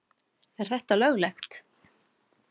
Er þetta löglegt?